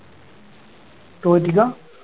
തോറ്റിക്കാ